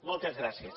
moltes gràcies